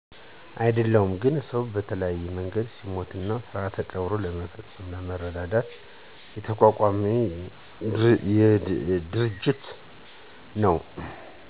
አደለሁም ግን ሰው በተለያየ መንገድ ሲሞት ስርዓተ ቀብሩን ለመፈፀምና ለመረዳዳት የተቋቋመ ድርጅት ነው።